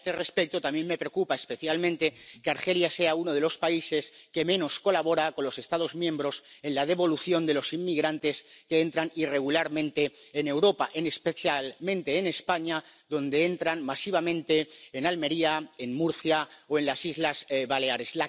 Y a este respecto, también me preocupa especialmente que Argelia sea uno de los países que menos colabora con los Estados miembros en la devolución de los inmigrantes que entran irregularmente en Europa, especialmente en España donde entran masivamente en Almería, en Murcia o en las Islas Baleares.